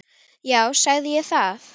Já, sagði ég það?